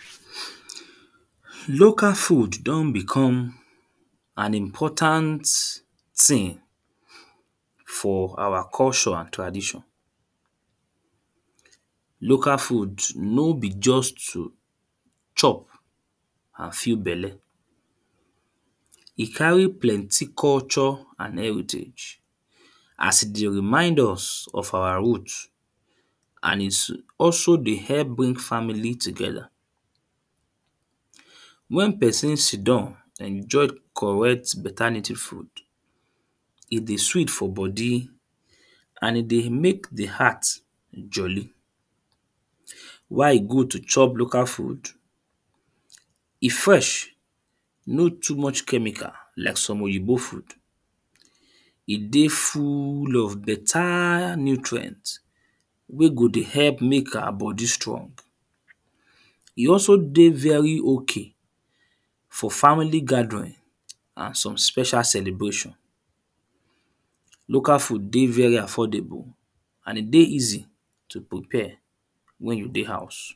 erm Local food don become an important thing for our culture and tradition. Local food no be just too chop and fill belle. E carry plenty culture and heritage as e dey remind us of our root and is also dey help bring family tiogether. When person sit down den chop correct better native food e dey sweet for body. And e dey make the heart jolly. Why e good to chop local food? E fresh. No toomuch chemical like some Oyinbo food. E dey full of better nutrient wey go dey help make our body strong. E also dey very okay for family gathering and some special celebration. Local food dey very affordable and e dey easy to prepare when you dey house.